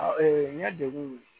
Ee n ye degun